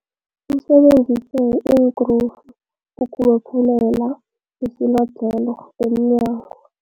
Usebenzise iinkrufu ukubophelela isilodlhelo emnyango.